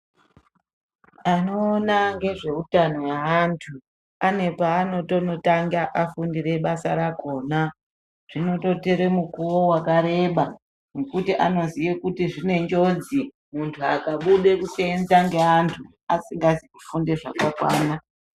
Anoona ngezveutano hweantu ane paanotanga afundire basa rakhona. Zvinototora mukuwo wakareba ngekuti vanoziye kuti zvine njodzi munhu akade kuseenza nevanhu asina ruzivo rwakakwana.